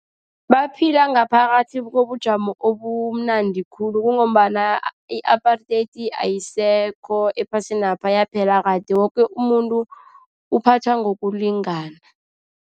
Baphila ngaphakathi kobujamo obumnandi khulu, kungombana i-apartheid ayisekho ephasinapha. Yaphela kade, woke umuntu uphathwa ngokulingana.